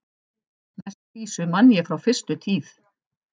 Næstu vísu man ég frá fyrstu tíð.